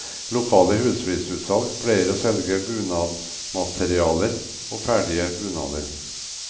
Lokale husflidsutsalg pleier å selge bunadmaterialer og ferdige bunader.